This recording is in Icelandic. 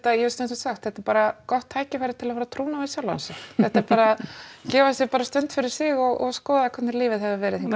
ég hef stundum sagt þetta er bara gott tækifæri til að fara á trúnó við sjálfa sig þetta er bara gefa sér bara stund fyrir sig og skoða hvernig lífið hefur verið hingað